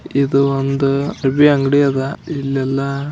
ಇದು ಒಂದು ಅರಬಿ ಅಂಗಡಿ ಅದ. ಇಲ್ಲ ಎಲ್ಲಾ --